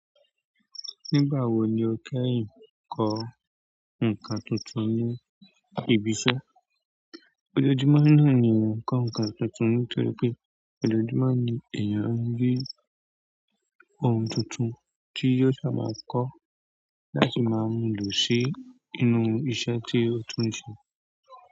Nígbà wo ni o kẹ́yìn kọ́ nǹkan tuntun ní ibi iṣẹ́? Òjòojúmọ́ ní èèyàn ń kọ nǹkan tuntun nítorí pé òjòojúmọ́ ni èèyàn ń rí ohun tuntun tí yóò sá maà kọ́ láti máa lò sí inú iṣẹ́ tí ó tún ń ṣe.